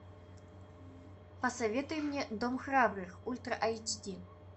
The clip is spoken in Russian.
посоветуй мне дом храбрых ультра аш ди